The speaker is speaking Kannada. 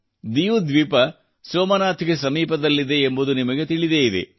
ಡಿಯು ದ್ವೀಪ ಸೋಮನಾಥ್ ಗೆ ಸಮೀಪದಲ್ಲಿದೆ ಎಂಬುದು ನಿಮಗೆ ತಿಳಿದೇ ಇದೆ